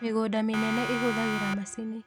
mĩgũnda mĩnene ĩhũthagĩra macinĩ